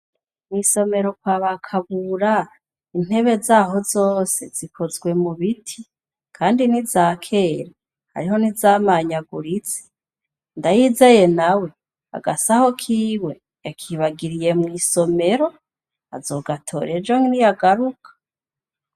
Mw'isomero kwa bakabura intebe zaho zose zikozwe mu biti, kandi ni zakere ariho nizamanyagurize ndayizeye na we agasaho kiwe yakibagiriye mw'isomero azogatorejo ni yagaruka.